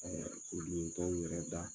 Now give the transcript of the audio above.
olu t'anw yɛrɛ da